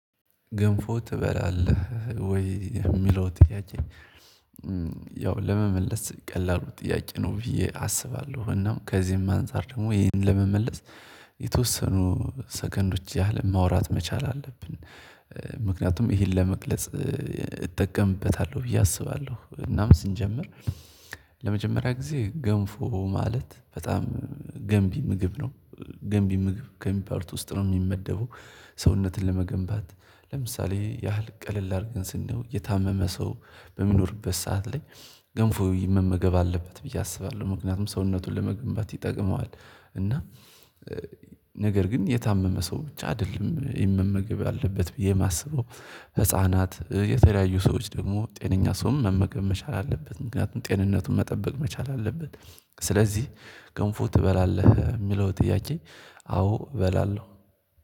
ገንፎ ትበላለህ ወይ የሚለው ጥያቄ ያው ለመመለስ ቀላሉ ጥያቄ ነው ብዬ አስባለሁ እና ከዚህም አንፃር ደግሞ ይህን ለመመለስ የተወሰኑ ሰከንዶች ያህል ማውራት መቻል አለብን ምክንያቱም ይሄን ለመግለጽ እጠቀምበታለሁ ብዬ አስባለሁ እናም ስንጀምር ለመጀመሪያ ግዜ ገንፎ ማለት በጣም ገንቢ ምግብ ነው ገንቢ ምግብ ከሚባሉት ውስጥ ነው የሚመደበው ሰውነትን ለመገንባት ለምሳሌ ያህል ቀለል አድርገን ስናየው የታመመ ሰው በሚኖርበት ሰዓት ላይ ገንፎ መመገብ አለበት ብዬ አስባለሁ ምክንያቱም ሰውነቱን ለመገንባት ይጠቅመዋል እና ነገር ግን የታመመ ሰው ብቻ አይደለም የመመገብ ያለበት ብዬ የማስበው ህፃናት የተለያዩ ሰዎች ደግሞ ጤነኛ ሰውም መመገብ መቻል አለበት ምክንያቱም ጤንነቱን መጠበቅ መቻል አለበት። ስለዚህ ገንፎ ትበላለህ የሚለው ጥያቄ አዎ እበላለሁ